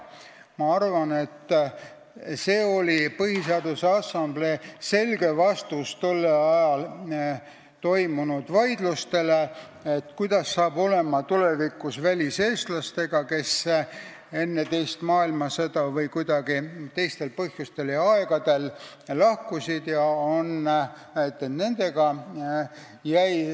Ma arvan, et see oli Põhiseaduse Assamblee selge vastus tollel ajal toimunud vaidlustele, kuidas hakkab tulevikus olema väliseestlastega, kes enne teist maailmasõda või mingitel teistel põhjustel ja aegadel olid lahkunud.